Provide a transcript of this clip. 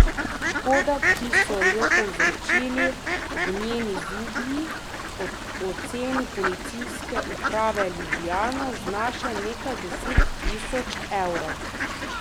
Škoda, ki so jo povzročili ognjeni zublji, po oceni policijske uprave Ljubljana znaša nekaj deset tisoč evrov.